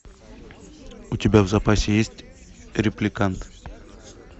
у тебя в запасе есть репликант